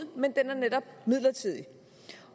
men den er netop midlertidig